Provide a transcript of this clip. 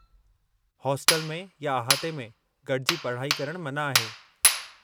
Hostel में या अहाते में गॾिजी पढ़ाई करणु मना आहे।